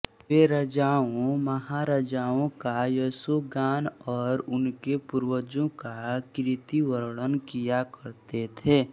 वे राजाओं महाराजाओं का यशोगान और उनके पूर्वजों का कीर्तिवर्णन किया करते थे